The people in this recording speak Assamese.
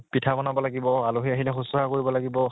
পিঠা ব্নাব লাগিব, আলিহী আহিলে শুশ্ৰূষা কৰিব লাগিব